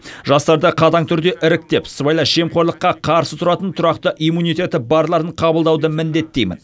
жастарды қатаң түрде іріктеп сыбайлас жемқорлыққа қарсы тұратын тұрақты иммунитеті барларын қабылдауды міндеттеймін